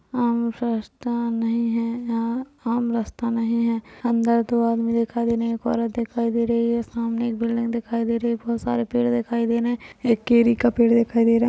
आम सस्ता नहीं है या आम रास्ता नहीं है अंदर दो आदमी दिखाई दे रहे है एक औरत दिखाई दे रही है सामने एक बिल्डिंग दिखाई दे रही है बहुत सारे पेड़ दिखाई दे रहे है एक केरी का पेड़ दिखाई दे रहा --